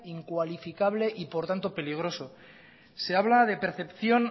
incuatificable y por tanto peligroso se habla de percepción